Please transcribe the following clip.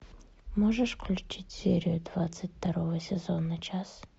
можешь включить серию двадцать второго сезона час